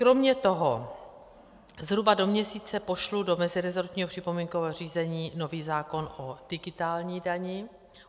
Kromě toho zhruba do měsíce pošlu do meziresortního připomínkového řízení nový zákon o digitální dani.